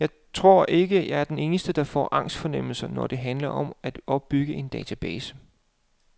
Jeg tror ikke, jeg er den eneste, der får angstfornemmelser, når det handler om at opbygge en database.